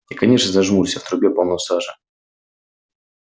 и конечно зажмурься в трубе полно сажи